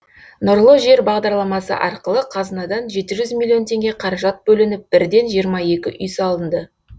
нұрлы жер бағдарламасы арқылы қазынадан жеті жүз миллион теңге қаражат бөлініп бірден жиырма екі үй салынды